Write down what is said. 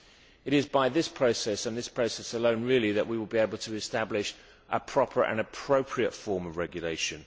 It is by this process and this process alone that we will be able to establish a proper and appropriate form of regulation.